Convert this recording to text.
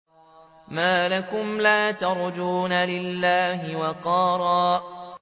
مَّا لَكُمْ لَا تَرْجُونَ لِلَّهِ وَقَارًا